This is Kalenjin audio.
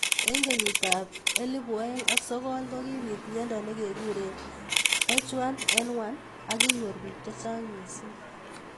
Eng kenyit ab elibu aeng ak sokol kokibit mnyendo nekekure H1N1 ak kinyor bik chechang missing.